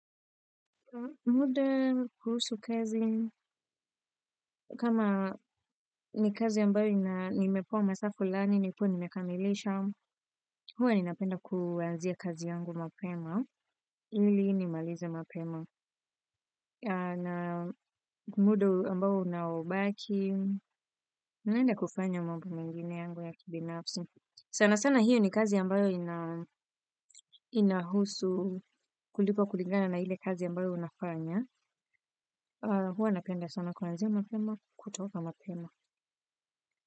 Muda kuhusu kazi, kama ni kazi ambayo nimepewa masaa fulani, nikuwe nimekamilisha, huwa ninapenda kuanzia kazi yangu mapema, ili nimalize mapema. Na muda ambao unaobaki, ninaenda kufanya mamba mengine yangu ya kibinafsi. Sana sana hiyo ni kazi ambayo inahusu kulipwa kulingana na ile kazi ambayo unafanya. Huwa napenda sana kuanzia mapema, kutoka mapema.